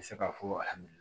N bɛ se ka fɔ